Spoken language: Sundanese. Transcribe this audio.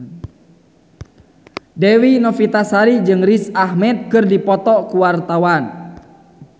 Dewi Novitasari jeung Riz Ahmed keur dipoto ku wartawan